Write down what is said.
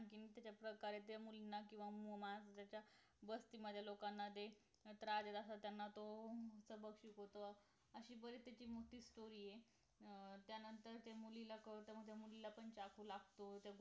आणखी त्याच्या प्रकारे ते मुलीनं किंवा माज द्यायचा बस्तीमधल्या लोकांना दे त्रास देत असतात त्यांना तो सबक शिकवतो अशी बरीचशी मोठी story आहे अं त्यानंतर ते मुलीला कळत त्या मुलीला पण चाकु लागतो